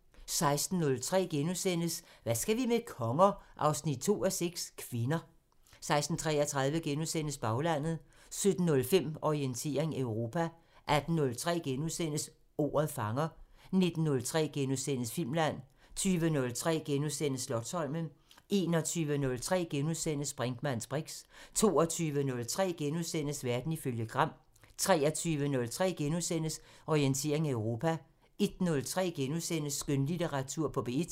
16:03: Hvad skal vi med konger? 2:6 – Kvinder * 16:33: Baglandet * 17:05: Orientering Europa 18:03: Ordet fanger * 19:03: Filmland * 20:03: Slotsholmen * 21:03: Brinkmanns briks * 22:03: Verden ifølge Gram * 23:03: Orientering Europa * 01:03: Skønlitteratur på P1 *